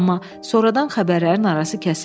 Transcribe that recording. amma sonradan xəbərlərin arası kəsildi.